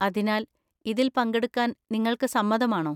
അതിനാൽ, ഇതിൽ പങ്കെടുക്കാൻ നിങ്ങൾക്ക് സമ്മതമാണോ?